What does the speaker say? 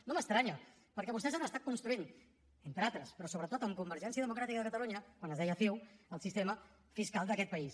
no m’estranya perquè vostès han estat construint entre altres però sobretot amb convergència democràtica de catalunya quan es deia ciu el sistema fiscal d’aquest país